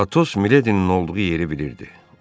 Atos Miledinin olduğu yeri bilirdi.